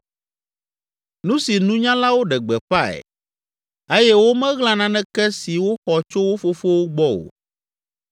nu si nunyalawo ɖe gbeƒãe eye womeɣla naneke si woxɔ tso wo fofowo gbɔ o,